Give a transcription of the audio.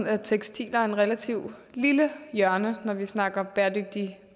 at tekstiler er et relativt lille hjørne når vi snakker bæredygtigt